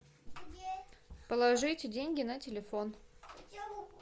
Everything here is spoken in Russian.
положите деньги на телефон